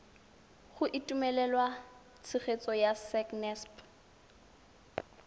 go itumelela tshegetso ya sacnasp